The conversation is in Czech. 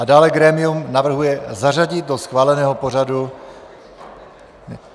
A dále grémium navrhuje zařadit do schváleného pořadu: